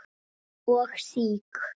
og SÍK.